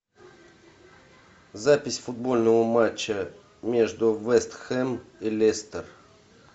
запись футбольного матча между вест хэм и лестер